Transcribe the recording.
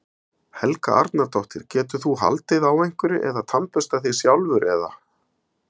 Helga Arnardóttir: Getur þú haldið á einhverju eða tannburstað þig sjálfur eða?